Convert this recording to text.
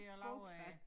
Bordplan